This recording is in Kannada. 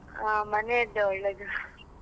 ಆ ಮನೆದ್ದು ಒಳ್ಳೇದು.